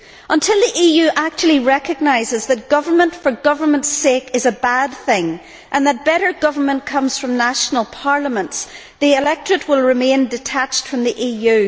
Until the EU actually recognises that government for government's sake is a bad thing, and that better government comes from national parliaments, the electorate will remain detached from the EU.